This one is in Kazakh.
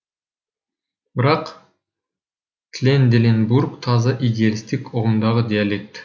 бірақ тренделенбург таза идеалистік ұғымдағы диалект